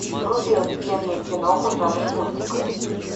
вруби офигенную киноху в жанре мультик